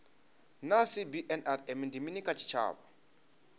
naa cbnrm ndi mini kha tshitshavha